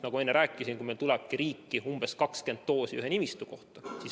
Nagu ma enne rääkisin, tulebki meil riiki umbes 20 doosi ühe nimistu kohta.